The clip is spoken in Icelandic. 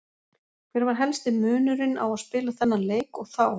Hver var helsti munurinn á að spila þennan leik og þá?